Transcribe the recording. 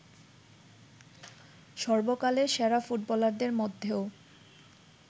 সর্বকালের সেরা ফুটবলারদের মধ্যেও